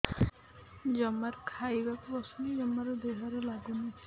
ଜମାରୁ ଖାଇବାକୁ ବସୁନି ଜମାରୁ ଦେହରେ ଲାଗୁନି